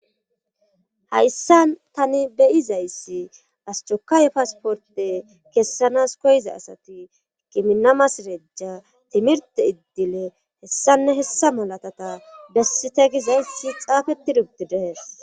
Hayssa tani beyizayssi astokaaye pasporte kessanas koyiza asati kiminamas rejja timirte iddile hessanne hessa malatata bessite gizayssi xaafeti dubdidees.